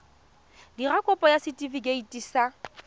dira kopo ya setefikeiti sa